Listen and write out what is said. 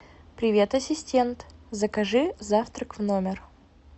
привет ассистент закажи завтрак в номер